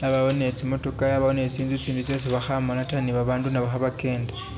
yabowo ni tsimotoka yabawo nitsintsu tsiitsindi tsesi bakhamala taa nibabandu nabo khabakenda